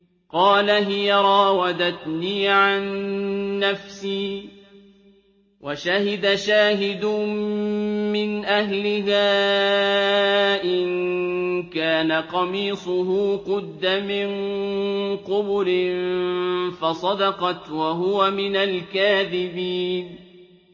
قَالَ هِيَ رَاوَدَتْنِي عَن نَّفْسِي ۚ وَشَهِدَ شَاهِدٌ مِّنْ أَهْلِهَا إِن كَانَ قَمِيصُهُ قُدَّ مِن قُبُلٍ فَصَدَقَتْ وَهُوَ مِنَ الْكَاذِبِينَ